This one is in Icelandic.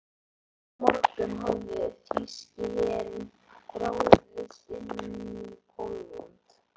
Þennan morgunn hafði þýski herinn ráðist inn í Pólland.